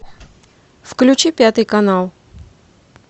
включи пятый канал